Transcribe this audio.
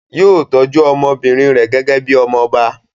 Yóò tọ́jú ọmọbìnrin rẹ̀ gẹ́gẹ́ bí i ọmọ ọba.